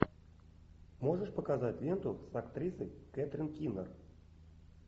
можешь показать ленту с актрисой кэтрин кинер